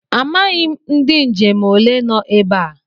Amachaghị m ndị njem ole no ebe a.